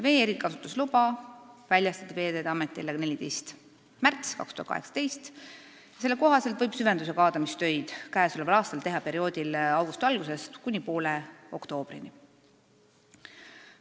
Vee erikasutusluba väljastati Veeteede Ametile 14. märtsil 2018 ja selle kohaselt võib süvendus- ja kaadamistöid käesoleval aastal teha perioodil augusti algusest kuni poole oktoobrini.